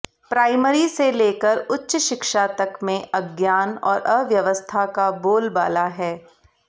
primary से लेकर उच्च शिक्षा तक में अज्ञान और अव्यवस्था का बोलबाला है